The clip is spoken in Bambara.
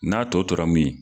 N'a tɔ tora min ye